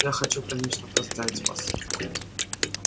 я хочу конечно поздравить вас